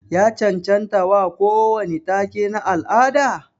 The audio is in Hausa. Ya cancancta wa kowani take na al'ada?